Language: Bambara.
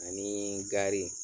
Anii gari